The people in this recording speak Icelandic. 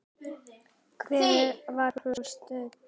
Hvar var hún stödd?